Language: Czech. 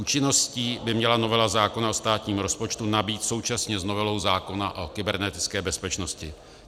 Účinností by měla novela zákona o státním rozpočtu nabýt současně s novelou zákona o kybernetické bezpečnosti.